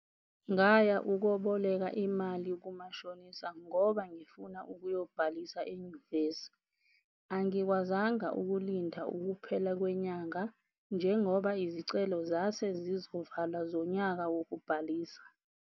Ngaya ukoboleka imali kumashonisa ngoba ngifuna ukuyobhalisa enyuvesi. Angikwazanga ukulinda ukuphela kwenyanga, njengoba izicelo zase zizovalwa zonyaka wokubhalisa.